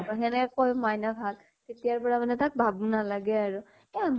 সেনেকে কয়, মাইনা ভাল, তেতিয়াৰ পৰা মানে তাক বাবু নালাগে আৰু । এ